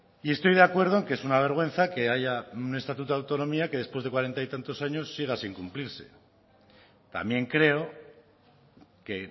y estoy de acuerdo en que es una vergüenza que haya un estatuto de autonomía que después de cuarenta y tantos años siga sin cumplirse también creo que